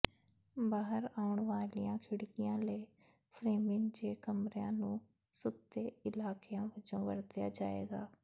ਬਾਹਰ ਆਉਣ ਵਾਲੀਆਂ ਖਿੜਕੀਆਂ ਲਈ ਫ੍ਰੇਮਿੰਗ ਜੇ ਕਮਰਿਆਂ ਨੂੰ ਸੁੱਤੇ ਇਲਾਕਿਆਂ ਵਜੋਂ ਵਰਤਿਆ ਜਾਏਗਾ